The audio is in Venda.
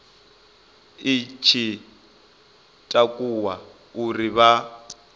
i tshi takuwa uri vha